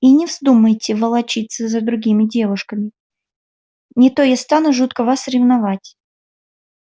и не вздумайте волочиться за другими девушками не то я стану жутко вас ревновать